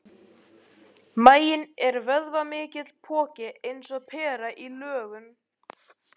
Maginn er vöðvamikill poki og eins og pera í lögun.